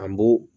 An b'o